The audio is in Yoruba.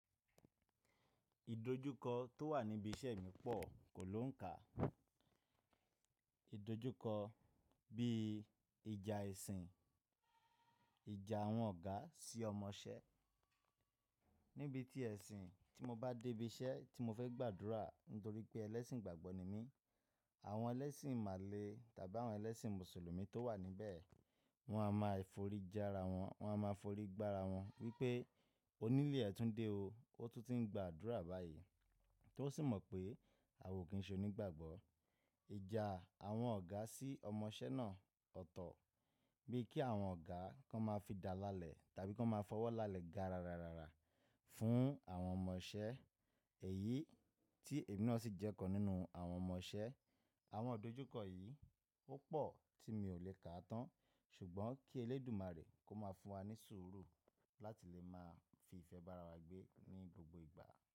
Ìdojúkọ tó wà níbi iṣẹ́ mi pọ̀ kò lóùn kà. Ìdojúkọ bí ìjà ẹ̀sìn, ìjà àwọn ọ̀gá sí ọmọṣẹ́. Níbi tí ẹ̀sìn tí mo bá dé ibi iṣẹ́ tí mo fẹ́ gbàdúrà nítorí pé ẹlẹ́sìn igbàgbọ́ ni mí, àwọn ẹlẹ́sìn imàlé tàbí àwọn ẹlẹ́sìn mùsùlùmí tó wà níbẹ̀ wọ́n á máa foríjà ara wọn, wọ́n á máa forí gbá ara wọn wípé onílé ẹ tún dé o, ó tún ti ń gbà adúrà báyìí, tó sì mọ̀ pé a ò kí n ṣe onígbàgbọ́. Ìjà àwọn ọ̀gá sí ọmọṣẹ́ náà ọ̀tọ̀, bí kí àwọn ọ̀gá kan máa fi dáa lálẹ̀ tàbí kí wọ́n máa fọwọ́ lálẹ̀ ga rara fún àwọn ọmọṣẹ́, èyí tí èmi náà sì jẹ́ kan nínú àwọn ọmọṣẹ́. Àwọn ìdojúkọ yìí ó pọ̀ tí mi ò lè kà á tán, ṣùgbọ́n kí Elédùmarè kó máa fún wa ní sùúrù láti lè máa fi ìfẹ́ bára wa gbé ní gbogbo ìgbà.